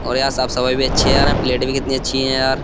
और यार साफ सफाई भी अच्छी है यार प्लेट भी कितनी अच्छी है यार।